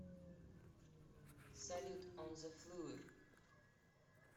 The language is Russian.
салют он зе флур